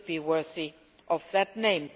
It should be worthy of that name.